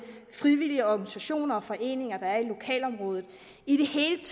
frivillige organisationer og foreninger der er i lokalområdet i det hele